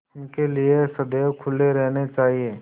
उनके लिए सदैव खुले रहने चाहिए